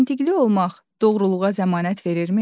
Məntiqli olmaq doğruluğa zəmanət verirmi?